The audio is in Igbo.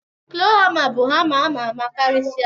klọ hama bu hama amama karisie.